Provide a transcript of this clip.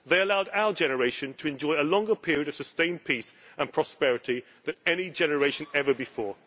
They allowed our generation to enjoy a longer period of sustained peace and prosperity that any generation ever before.